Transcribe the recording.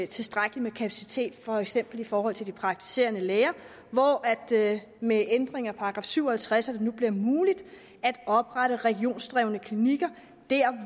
tilstrækkelig med kapacitet for eksempel i forhold til de praktiserende læger hvor det med ændringen af § syv og halvtreds nu bliver muligt at oprette regionsdrevne klinikker der